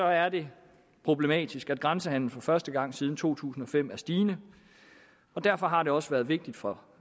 er det problematisk at grænsehandelen for første gang siden to tusind og fem er stigende og derfor har det også været vigtigt for